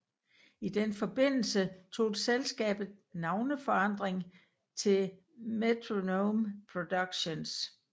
I den forbindelse tog selskabet navneforandring til Metronome Productions